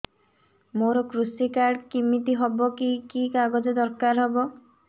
ମୋର କୃଷି କାର୍ଡ କିମିତି ହବ କି କି କାଗଜ ଦରକାର ହବ